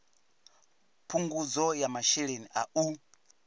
phungudzo ya masheleni a u